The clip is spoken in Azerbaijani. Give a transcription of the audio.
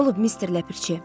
Nə olub Mister Ləpirçi?